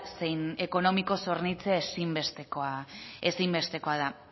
zein ekonomikoz hornitzea ezinbestekoa da